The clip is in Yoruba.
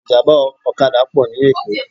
Ìjàmbá ọ̀kadà pọ̀ ní Èkó